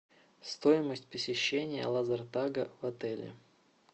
стоимость посещения лазертага в отеле